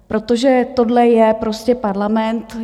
Protože tohle je prostě parlament.